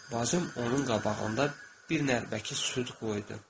Bacım onun qabağında bir nərbəki süd qoydu.